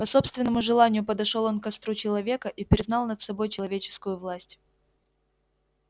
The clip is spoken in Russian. по собственному желанию подошёл он к костру человека и признал над собой человеческую власть